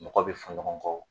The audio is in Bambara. Mɔgɔ bi fɔ ɲɔgɔn kɔ